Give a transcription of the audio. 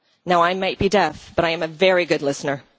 Now I might be deaf, but I am a very good listener.